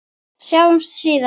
Sjáumst síðar!